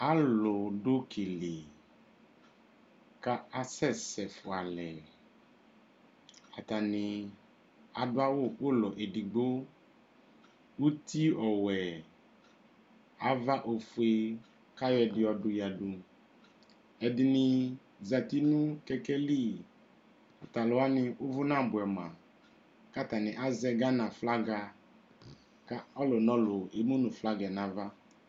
Alʋ dʋ uki li kʋ asɛsɛ fua alɛ Atani adʋ awʋ ʋlɔ ɛdigbo Uti ɔwɛ, ava ofue, kʋ ayɔ ɛdi yɔdʋ yadu Ɛdini zati nʋ kɛkɛ li Tʋ alʋ wani ʋvʋ nabuɛ ma kʋ atani azɛ Gana Aflaga kʋ ɔlʋnɔlʋ emu nʋ flaga yɛ n'ava